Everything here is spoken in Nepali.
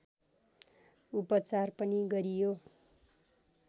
उपचार पनि गरियो